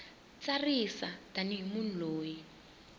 tsarisa tani hi munhu loyi